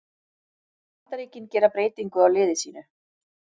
Bandaríkin gera breytingu á liði sínu